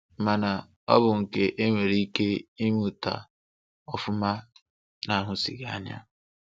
Mana, ọ bụ nkà e nwere ike ịmụta ọfụma na-ahụsighi anya.